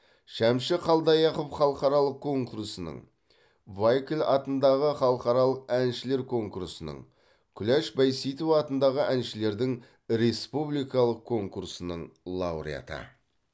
шәмші қалдаяқов халықаралық конкурсының вайкль атындағы халықаралық әншілер конкурсының күләш байсейітова атындағы әншілердің республикалық конкурсының лауреаты